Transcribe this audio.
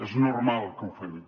és normal que ho fem